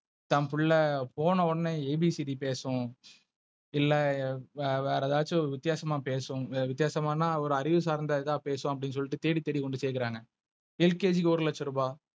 தம்புள்ள போன உடனே A B C D பேசும். இல்ல வேற எதாச்சும் வித்தியாசமா பேசவும். வித்தியாசமான ஒரு அறிவு சார்ந்த இத பேசுவாங்க அப்டினு சொல்ட்டு தேடி தேடி கொண்டு செக்குறாங்க. LKG ஒரு லட்ச ரூபா,